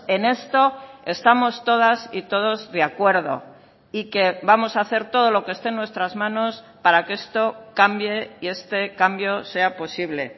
en esto estamos todas y todos de acuerdo y que vamos a hacer todo lo que esté en nuestras manos para que esto cambie y este cambio sea posible